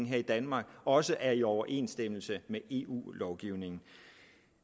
i danmark også er i overensstemmelse med eu lovgivningen